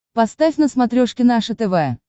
поставь на смотрешке наше тв